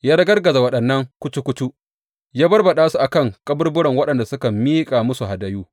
Ya ragargaza waɗannan kucu kucu, ya barbaɗa su a kan kaburburan waɗanda suka miƙa musu hadayu.